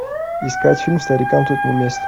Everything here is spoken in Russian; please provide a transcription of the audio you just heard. искать фильм старикам тут не место